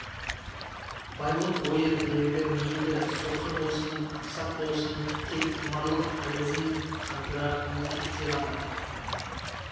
барлық ойы тілегі мейлі соқыр болсын ақсақ болсын тек құмарлық айызын қандырар еркекте ғана